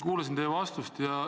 Kuulasin teie vastust.